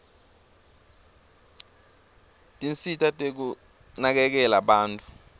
tinsita tekunakekela bantfu